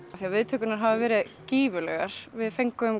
viðtökurnar hafa verið gífurlegar við fengum